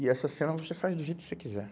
E essa cena você faz do jeito que você quiser.